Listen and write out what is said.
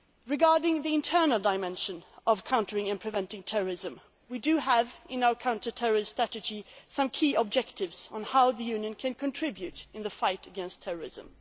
over the world. Regarding the internal dimension of countering and preventing terrorism, we do have in our counter terrorist strategy some key objectives on how the Union can contribute in the fight against